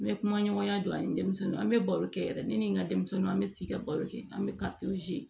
N bɛ kuma ɲɔgɔnya don ani denmisɛnnin an bɛ baro kɛ yɛrɛ ne ni n ka denmisɛnninw an bɛ sigi ka baro kɛ an bɛ